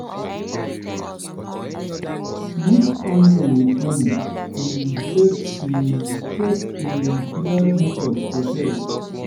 mix onion with honey um take um take um clear mucus for chest.